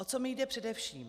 O co mi jde především?